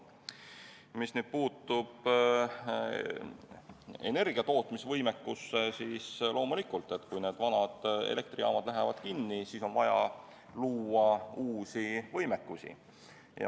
Mis nüüd puutub energiatootmise võimekusse, siis loomulikult, kui vanad elektrijaamad lähevad kinni, on vaja luua uust võimekust.